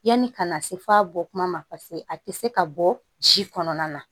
Yanni ka na se f'a bɔ kuma ma paseke a tɛ se ka bɔ ji kɔnɔna na